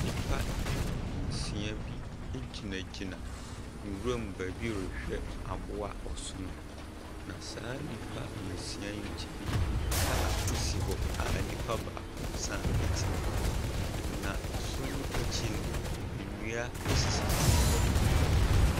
Nipa nsia bi egyinagyina nwura mu beebi rehwɛ aboa ɔsono. Na saa nipa nsia yi nkyɛn kaa esi hɔ a enipa baako saa ɛte mu na ɔsono ekyi no ndua esisisi hɔ.